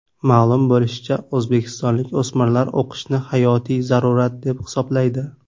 Ma’lum bo‘lishicha, o‘zbekistonlik o‘smirlar o‘qishni hayotiy zarurat, deb hisoblaydi.